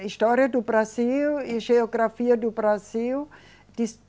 A história do Brasil e geografia do Brasil.